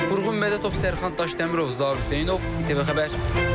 Vurğun Mədətov, Sərxan Daşdəmirov, Zaur Hüseynov, ATV Xəbər.